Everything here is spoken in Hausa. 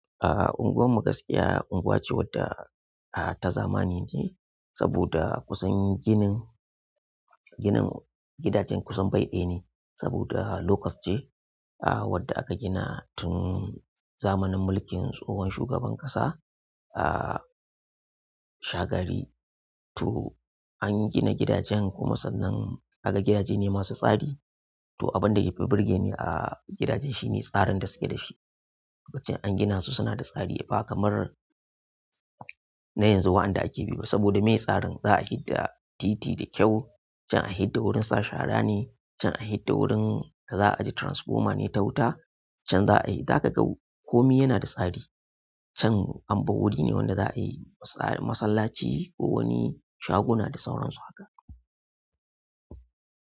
Unguwar magaskiya unguwa ce wadda ah ta zamani ne saboda kusan ginin, ginin gidaje kusan bai dayaneh saboda low cost ceh ah wadda aka gina tun zamanin mulkin tsohon shugaban ƙasa, ah, Shagari. To an gina gidajen kuma sannan kaga gidaje ne masu tsari. To abin da ya fi burge ni a gidajen shi ne tsarin da suke da shi. Lokacin an gina su suna da tsari ba kamar na yanzu waɗanda ake bi ba saboda me tsarin za a fi da titi da kyau, can a fi da wurin sa shara ne, can a fi da wurin da za a ajiye transformer ne ta wuta, can za a yi. Haka kau, komi yana da tsari can. Amma wuri ne wanda za a yi masallaci ko wani shaguna da sauran su haka.